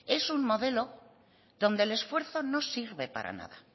es un modelo donde el esfuerzo no sirve para nada